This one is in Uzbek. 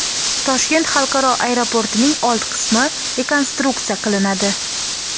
Toshkent xalqaro aeroportining old qismi rekonstruksiya qilinadi.